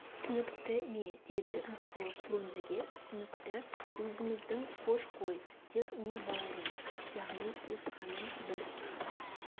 түсінікті ме деді рысқұлов фрунзеге түсінікті өзіміздің хош қой тек не бауырым яғни туысқаным бір